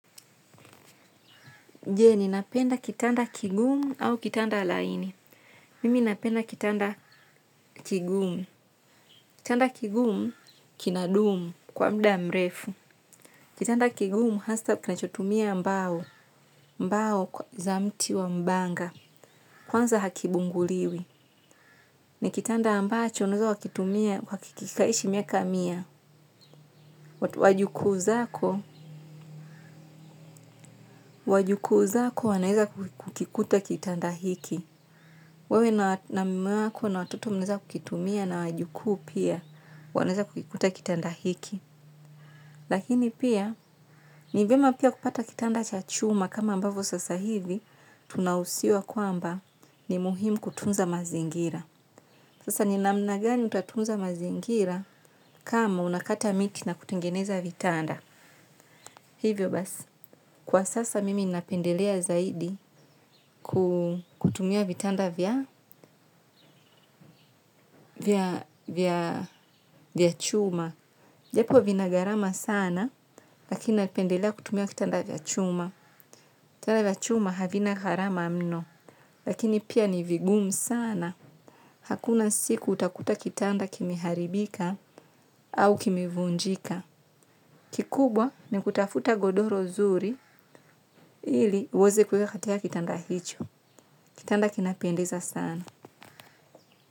Je, ni napenda kitanda kigumu au kitanda laini. Mimi napenda kitanda kigumu. Kitanda kigumu, kina dumu kwa mda mrefu. Kitanda kigumu, hasa kinachotumia mbao. Mbao kwa za mti wa mbanga. Kwanza hakibunguliwi. Ni kitanda ambacho, unaeza wakitumia kwa kikaishi miaka mia. Wajukuu zako, wajukuu zako wanaeza kukikuta kitanda hiki. Wewe na mume wako na watoto mnaeza kukitumia na wajukuu pia wanaeza kukikuta kitanda hiki. Lakini pia ni vyema pia kupata kitanda cha chuma kama ambavyo sasa hivi tunahusiwa kwamba ni muhimu kutunza mazingira. Sasa ni namna gani utatunza mazingira kama unakata miti na kutengeneza vitanda. Hivyo basi. Kwa sasa mimi napendelea zaidi kutumia vitanda vya chuma. Japo vina garama sana lakini napendelea kutumia vitanda vya chuma. Vitanda vya chuma havina gharama mno lakini pia ni vigumu sana. Hakuna siku utakuta kitanda kimeharibika au kimevunjika. Kikubwa ni kutafuta godoro zuri ili uweze kuweka katika kitanda hicho. Kitanda kinapendeza sana.